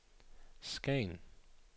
Skagen